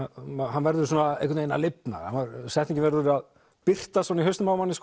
hann verður einhvern veginn að lifna setningin verður að birtast í hausnum á manni